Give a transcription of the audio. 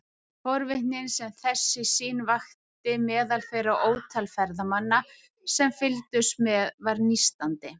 Forvitnin sem þessi sýn vakti meðal þeirra ótal ferðamanna sem fylgdust með var nístandi.